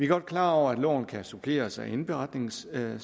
godt klar over at loven kan suppleres af indberetningscirkulæret